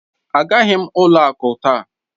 Agaghị m ụlọ akụ taa